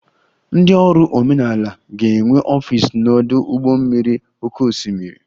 Ndị ọrụ omenala ga-enwe ọfịs n'ọdụ ụgbọ mmiri oké osimiri